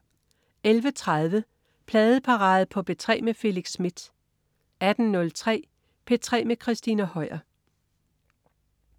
11.30 Pladeparade på P3 med Felix Smith 18.03 P3 med Christina Høier